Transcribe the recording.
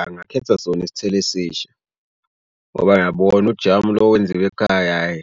Angakhetha sona isithelo esisha ngoba ngiyabona ujamu lo wenziwa ekhaya hhayi,